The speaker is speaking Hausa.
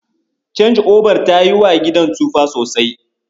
Canji'obar ta yiwa gidan tsufa sosai.